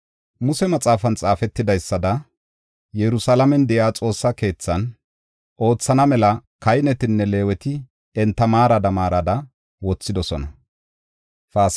Muse Maxaafan xaafetidaysada, Yerusalaamen de7iya Xoossaa keethan oothana mela kahinetinne Leeweti enta maarada maarada wothidosona.